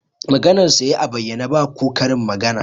Maganarsa ya yi a bayyane, ba ko karin magana